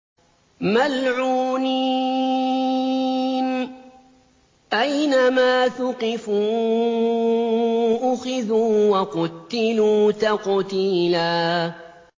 مَّلْعُونِينَ ۖ أَيْنَمَا ثُقِفُوا أُخِذُوا وَقُتِّلُوا تَقْتِيلًا